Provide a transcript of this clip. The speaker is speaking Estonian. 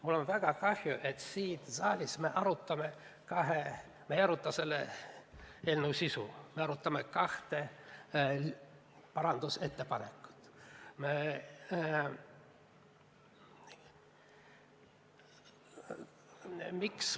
Mul on väga kahju, et me siin saalis ei aruta selle eelnõu põhisisu üle, vaid arutame kahte parandusettepanekut.